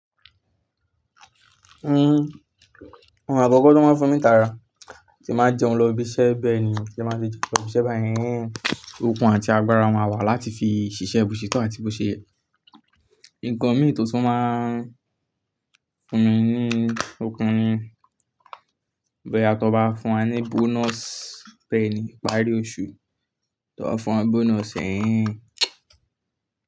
Hmm, ohun àkọ́kọ́ tó máa fún mi tara tí máa jẹun lọ ibi iṣẹ́ bẹ́ẹ̀ ni ti bá ti jẹun lo ibiṣe báyen, okun àti agbára ma wà láti fi ṣiṣẹ́ bóṣetọ́ àti bóṣeyẹ. Ǹkan mí tó tún máa fún mi ní okun ni bóyá tó nbá fún wa ní bonus bẹ́ẹ̀ ni ìparí oṣù, tó bá fún wa bonus eee.